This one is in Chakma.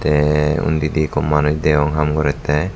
tey undidi ikko manus deyong haam gorettey.